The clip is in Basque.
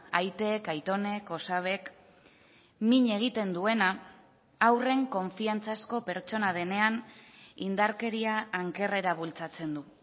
aitek aitonek osabek min egiten duena haurren konfiantzazko pertsona denean indarkeria ankerrera bultzatzen du